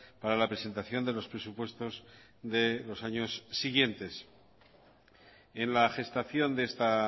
para la presentación de los presupuestos de los años siguientes en la gestación de esta